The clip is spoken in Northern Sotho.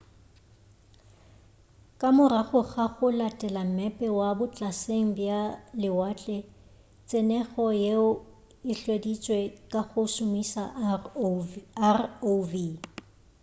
ka morago ga go latela mmepe wa botlaseng bja lewatle tsenyego yeo e hweditše ka go šomiša rov